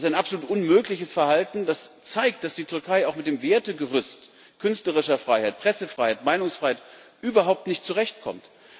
Das ist ein absolut unmögliches Verhalten, das zeigt, dass die Türkei auch mit dem Wertegerüst künstlerischer Freiheit, Pressefreiheit, Meinungsfreiheit überhaupt nicht zurechtkommt.